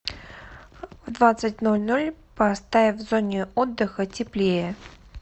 в двадцать ноль ноль поставь в зоне отдыха теплее